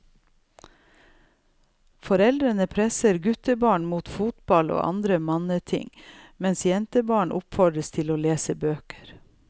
Foreldre presser guttebarn mot fotball og andre manneting, mens jentebarn oppfordres til å lese bøker.